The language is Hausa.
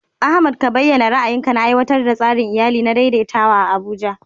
Ahmad ka bayyana ra'ayinka na aiwatar da tsarin iyali na daidaitawa a Abuja.